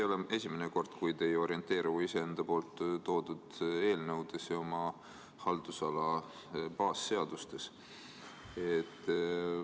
See ei ole esimene kord, kui te ei orienteeru iseenda esitatud eelnõudes ja oma haldusala baasseadustes.